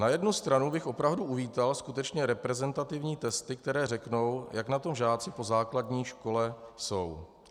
Na jednu stranu bych opravdu uvítal skutečně reprezentativní testy, které řeknou, jak na tom žáci po základní škole jsou.